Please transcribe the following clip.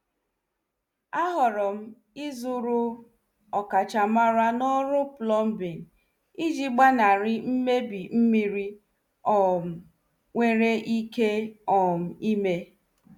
A horom izuru ọkachamara n' ọrụ plombing iji gbanari mmebi mmiri um nwere ike um ime.